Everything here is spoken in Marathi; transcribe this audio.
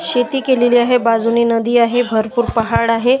शेती केलेली आहे बाजूने नदी आहे भरपूर पहाड आहे.